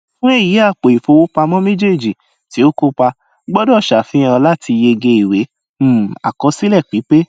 fún èyí àpò ìfowópamọ méjèèjì ti o kópa gbọdọ sàfihàn láti yege ìwé um àkọsílẹ pípé